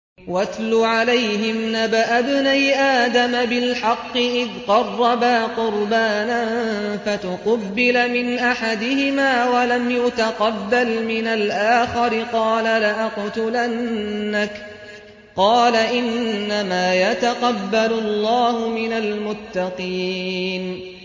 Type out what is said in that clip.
۞ وَاتْلُ عَلَيْهِمْ نَبَأَ ابْنَيْ آدَمَ بِالْحَقِّ إِذْ قَرَّبَا قُرْبَانًا فَتُقُبِّلَ مِنْ أَحَدِهِمَا وَلَمْ يُتَقَبَّلْ مِنَ الْآخَرِ قَالَ لَأَقْتُلَنَّكَ ۖ قَالَ إِنَّمَا يَتَقَبَّلُ اللَّهُ مِنَ الْمُتَّقِينَ